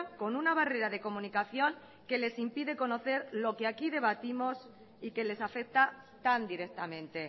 con una barrera de comunicación que les impide conocer lo que aquí debatimos y que les afecta tan directamente